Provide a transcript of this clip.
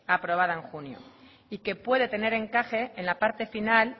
aprobada en junio y que puede tener encaje en la parte final